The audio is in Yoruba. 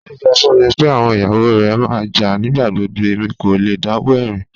Alhaji sọ fún mí pé awọn iyawo rẹ má n jà nigbagbogbo, èmi kò lẹ̀ dáwọ̀ ẹ̀rin